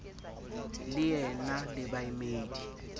le e na le baemedi